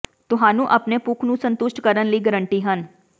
ਤੁਹਾਨੂੰ ਆਪਣੇ ਭੁੱਖ ਨੂੰ ਸੰਤੁਸ਼ਟ ਕਰਨ ਲਈ ਗਾਰੰਟੀ ਹਨ